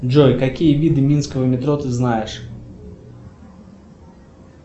джой какие виды минского метро ты знаешь